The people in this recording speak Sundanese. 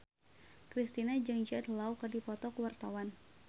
Kristina jeung Jude Law keur dipoto ku wartawan